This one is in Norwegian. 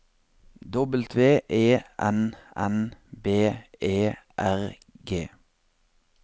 W E N N B E R G